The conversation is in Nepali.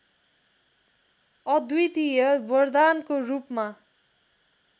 अद्वितीय वरदानको रूपमा